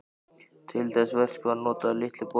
Til þess verks var notaður Litli borinn.